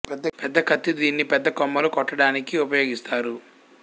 పెద్ద కత్తి దీన్ని పెద్ద కొమ్మలు కొట్ట డానికి ఉపయోగిస్తారు